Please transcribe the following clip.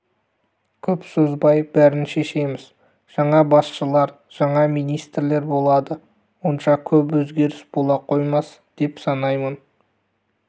көп созбай бәрін шешеміз жаңа басшылар жаңа министрлер болады онша көп өзгеріс бола қоймас деп санаймын